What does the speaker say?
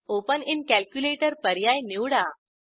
open in calculator पर्याय निवडा